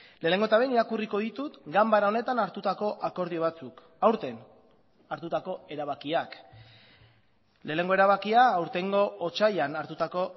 lehenengo eta behin irakurriko ditut ganbara honetan hartutako akordio batzuk aurten hartutako erabakiak lehenengo erabakia aurtengo otsailean hartutako